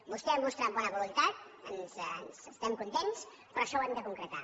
vostè ha mostrat bona voluntat n’estem contents però això ho hem de concretar